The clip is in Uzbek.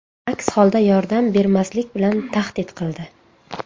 Aks holda yordam bermaslik bilan tahdid qildi.